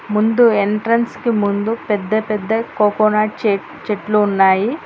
ముందు ఎంట్రెన్స్ కి ముందు పెద్ద పెద్ద కోకోనట్ చెట్లు ఉన్నాయి.